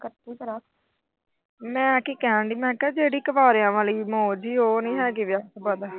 ਮੈਂ ਕੀ ਕਹਿਣ ਦਈ ਜਿਹੜੀ ਕੁਆਰੀਆਂ ਆਲੀ ਮੌਜ, ਉਹ ਨੀ ਹੈਗੀ ਵਿਆਹ ਤੋਂ ਬਾਅਦ।